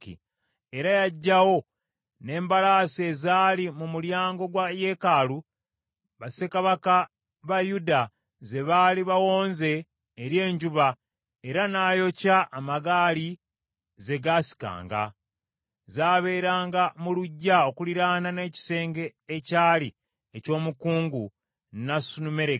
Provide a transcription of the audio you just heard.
Era yaggyawo n’embalaasi ezaali mu mulyango gwa yeekaalu, bassekabaka ba Yuda ze baali bawonze eri enjuba, era n’ayokya amagaali ze gaasikanga. Zaabeeranga mu luggya okuliraana n’ekisenge ekyali eky’omukungu Nasanumereki.